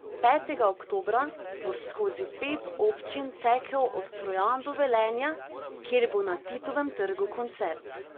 Petega oktobra bo skozi pet občin tekel od Trojan do Velenja, kjer bo na Titovem trgu koncert.